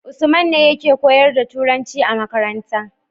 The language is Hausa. usman ne yake koyar da turanci a makaranta